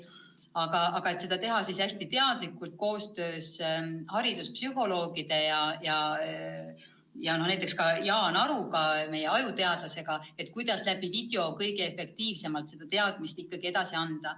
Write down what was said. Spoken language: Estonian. Aga seda on plaanis teha hästi teadlikult koostöös hariduspsühholoogide ja näiteks ka Jaan Aruga, meie ajuteadlasega, et video abil kõige efektiivsemalt teadmisi edasi anda.